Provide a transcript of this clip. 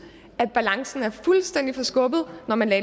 at balancen er fuldstændig forskubbet når man har